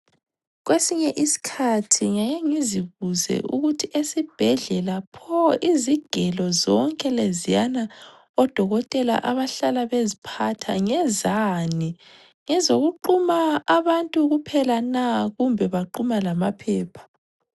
Kwesinye iskhathi ngyake ngizbuze ukuthi esibhedlela pho izigelo zonke leziyana odokotela abahlala beziphatha ngezani, ngezokuquma abantu kuphela na kumbe baquma lamaphepha.